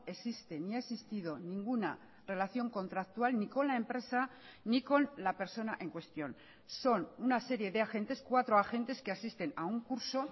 existe ni ha existido ninguna relación contractual ni con la empresa ni con la persona en cuestión son una serie de agentes cuatro agentes que asisten a un curso